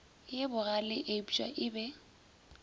ye bogale eupša e be